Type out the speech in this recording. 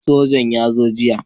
Sojan nan ya zo jiya